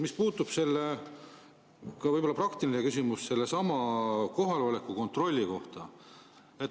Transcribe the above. Mul on ka praktiline küsimus sellesama kohaloleku kontrolli kohta.